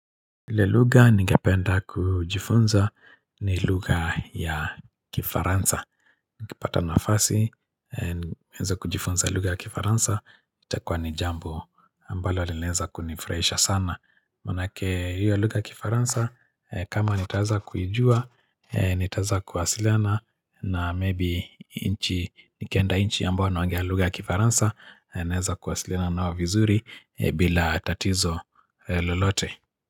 Ile lugha ningependa kujifunza ni lugha ya kifaransa. Nikipata nafasi, niweze kujifunza lugha ya kifaransa, itakuwa ni jambo ambalo linaeza kunifurahisha sana. Manake hiyo lugha ya kifaransa, kama nitaweza kuijua, nitaeza kuwasiliana na maybe inchi, nikienda inchi ambao wanaongea lugha ya kifaransa, naeza kuwasiliana nao vizuri bila tatizo lulote.